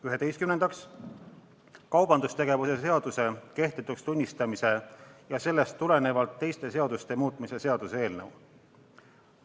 Üheteistkümnendaks, kaubandustegevuse seaduse kehtetuks tunnistamise ja sellest tulenevalt teiste seaduste muutmise seaduse eelnõu.